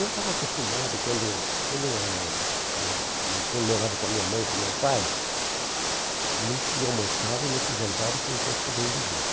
Eu estava acostumado, quando quando eu era eh hum eu morava com a minha mãe e com o meu pai, não se almoçava e não se jantava se não fosse todo mundo junto.